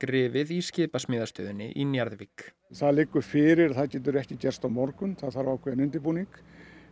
rifið í skipasmíðastöðinni í Njarðvík það liggur fyrir að það getur ekki gerst á morgun það þarf ákveðinn undirbúning